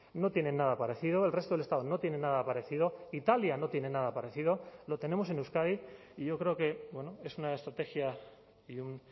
no tiene nada parecido el resto del estado no tiene nada parecido italia no tiene nada parecido lo tenemos en euskadi y yo creo que es una estrategia y un